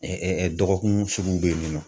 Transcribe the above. dɔgɔkun suguw be yen nɔ.